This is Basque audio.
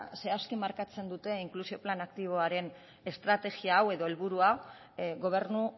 zehazki markatzen duen inklusio plan aktiboaren estrategia edo helburu hau gobernu